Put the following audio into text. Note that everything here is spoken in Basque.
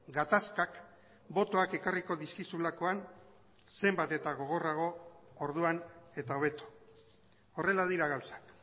gatazkak botoak ekarriko dizkizulakoan zenbat eta gogorrago orduan eta hobeto horrela dira gauzak